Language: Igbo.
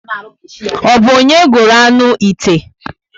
O bu onye gụrụ aṅụ 'ite?